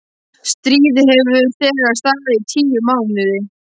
Stríðið hefur þegar staðið í tíu mánuði.